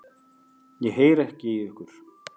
Ég heyri ekki í ykkur.